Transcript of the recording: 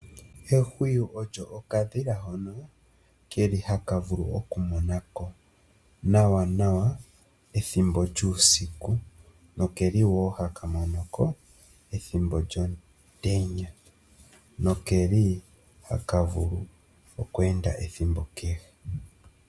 Ehwiyu olyo okadhila hono haka monoko nawa uusiku ashike omutenya ihaka monoko nawa. Oha ka li oombuku. Oha ka ende ethimbo kehe ihe unene oke hole oku enda uusiku.